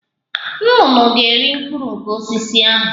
Nnụnụ ga- eri mkpụrụ nke osisi ahụ